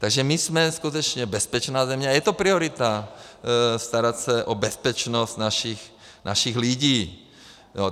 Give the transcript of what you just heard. Takže my jsme skutečně bezpečná země a je to priorita, starat se o bezpečnost našich lidí.